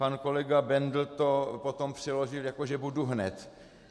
Pan kolega Bendl to potom přeložil jako že "budu hned".